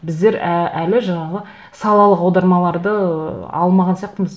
біздер әлі жаңағы салалық аудармаларды ыыы алмаған сияқтымыз